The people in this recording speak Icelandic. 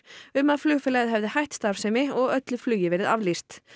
um að flugfélagið hefði hætt starfsemi og öllu flugi verið aflýst